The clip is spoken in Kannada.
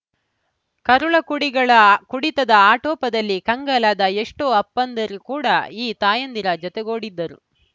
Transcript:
ಕರುಳಕುಡಿಗಳ ಆ ಕುಡಿತದ ಆಟೋಪದಲ್ಲಿ ಕಂಗಾಲದ ಎಷ್ಟೋ ಅಪ್ಪಂದಿರು ಕೂಡ ಈ ತಾಯಂದಿರ ಜೊತೆಗೂಡಿದ್ದರು